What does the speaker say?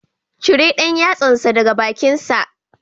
Cire ɗan yatsansa daga bakinsa